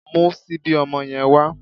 Mú síbí ọmọ yẹn wá